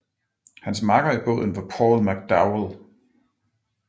Hans makker i båden var Paul McDowell